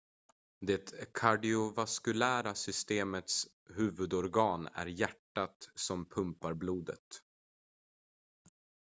det kardiovaskulära systemets huvudorgan är hjärtat som pumpar blodet